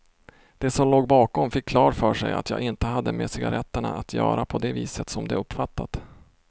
De som låg bakom fick klart för sig att jag inte hade med cigaretterna att göra på det viset som de uppfattat.